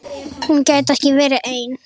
Hún gæti ekki verið ein.